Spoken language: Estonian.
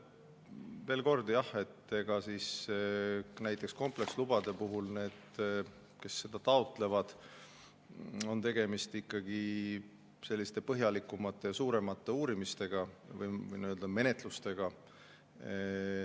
Veel kord: näiteks komplekslubade puhul on tegemist ikkagi põhjalikumate ja suuremate uurimiste või menetlustega.